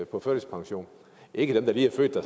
på førtidspension ikke dem der lige